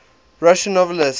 russian novelists